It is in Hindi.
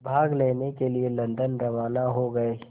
भाग लेने के लिए लंदन रवाना हो गए